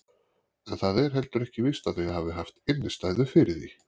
En það er heldur ekki víst að þau hafi haft innistæðu fyrir því.